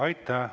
Aitäh!